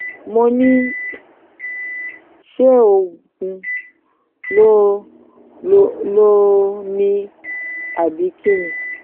mo ní ṣé oògùn ló lò lò ni àbí kín ni